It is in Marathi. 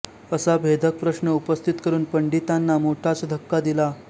असा भेदक प्रश्न उपस्थित करून पंडितांना मोठाच धक्का दिला